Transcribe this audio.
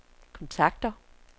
kontakter